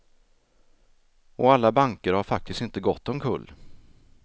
Och alla banker har faktiskt inte gått omkull.